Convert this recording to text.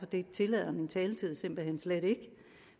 det tillader min taletid simpelt hen slet ikke